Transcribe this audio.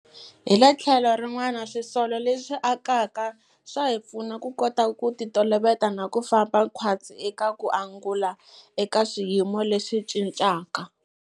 Hi le tlhelo rin'wana, swisolo leswi akaka swa hi pfuna ku kota ku titoloveta na ku famba khwatsi eka ku angula eka swiyimo leswi cincaka.